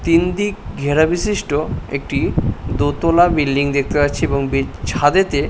তিনদিক ঘেরা বিশিষ্ট একটি দোতলা বিল্ডিং দেখতে পাচ্ছি এবং বি ছাদেতে--